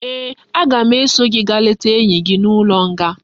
Ee, aga m eso gi gaa leta enyi gi n'ulo nga